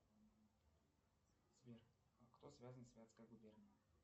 сбер а кто связан с вятской губернией